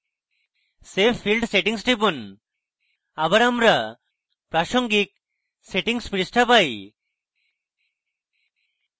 save field settings টিপুন আবার আমরা প্রাসঙ্গিক সেটিংস পৃষ্ঠা পাই